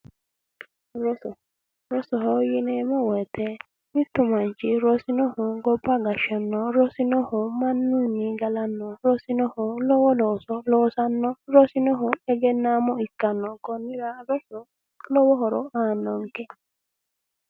roso rosoho yineemmowoyite mittu manchi rosinoho gobba gashshannoho rosinoho mannunni galannohu rosinoho lowo looso loosannohu rosinoho egennaamo ikkannohu konnira rosu lowo horo aannonke